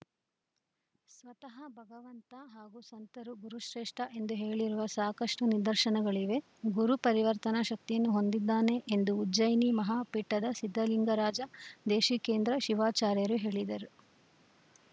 ಸ್ವತಹ ಭಗವಂತ ಹಾಗು ಸಂತರು ಗುರುಶ್ರೇಷ್ಠ ಎಂದು ಹೇಳಿರುವ ಸಾಕಷ್ಟುನಿದರ್ಶನಗಳಿವೆ ಗುರು ಪರಿವರ್ತನ ಶಕ್ತಿಯನ್ನು ಹೊಂದಿದ್ದಾನೆ ಎಂದು ಉಜ್ಜಯಿನಿ ಮಹಾ ಪೀಠದ ಸಿದ್ದಲಿಂಗರಾಜ ದೇಶಿಕೇಂದ್ರ ಶಿವಾಚಾರ್ಯರು ಹೇಳಿದರು